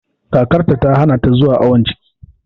Kakarta ta hana ta zuwa awon ciki